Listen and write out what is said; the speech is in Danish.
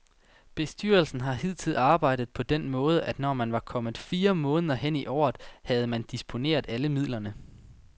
Bestyrelsen har hidtil arbejdet på den måde, at når man var kommet fire måneder hen i året, så havde man disponeret alle midlerne.